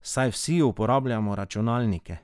Saj vsi uporabljamo računalnike.